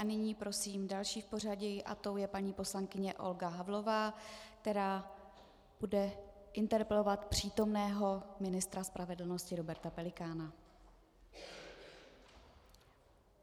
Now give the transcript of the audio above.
A nyní prosím další v pořadí a tou je paní poslankyně Olga Havlová, která bude interpelovat přítomného ministra spravedlnosti Roberta Pelikána.